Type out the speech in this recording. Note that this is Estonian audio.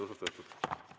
Ilusat õhtut!